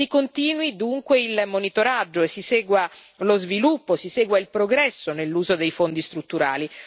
Si continui dunque il monitoraggio e si segua lo sviluppo, si segua il progresso nell'uso dei Fondi strutturali.